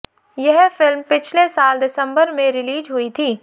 यह फिल्म पिछले साल दिसंबर में रिलीज हुई थी